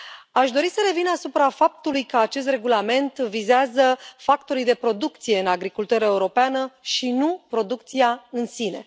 Aș dori să revin asupra faptului că acest regulament vizează factorii de producție în agricultura europeană și nu producția în sine.